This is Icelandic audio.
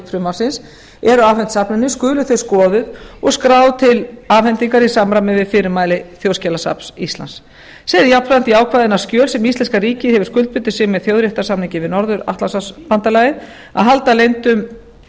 frumvarpsins eru afhent safninu skuli þau skoðuð og skráð til afhendingar í samræmi við fyrirmæli þjóðskjalasafns íslands segir jafnframt í ákvæðinu að skjöl sem íslenska ríkið hefur skuldbundið sig með þjóðréttarsamningi við norður atlantshafsbandalagið að halda leyndum